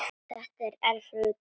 Þetta var erfiður dagur.